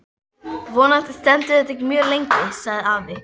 Vonandi stendur þetta ekki mjög lengi sagði afi.